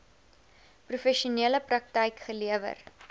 professionele praktyk gelewer